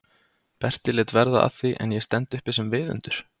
Berti lét verða af því en ég stend uppi sem viðundur?